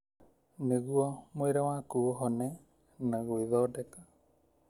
nĩguo mwĩrĩ waku ũhone na gwĩthondeka.